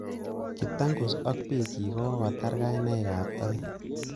Kiptangus ak bikchik kokatar kainaikab toek